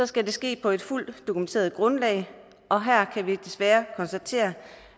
skal det ske på et fuldt dokumenteret grundlag og her kan vi desværre konstatere